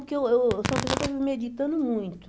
Porque eu eu sou uma pessoa que eu vivo meditando muito.